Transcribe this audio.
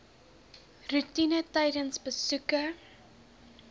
roetine tydens besoeke